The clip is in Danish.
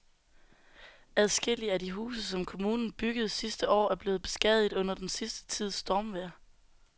Adskillige af de huse, som kommunen byggede sidste år, er blevet beskadiget under den sidste tids stormvejr.